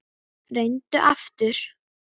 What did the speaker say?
Reyndu aftur.